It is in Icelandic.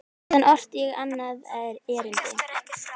Síðar orti ég annað erindi.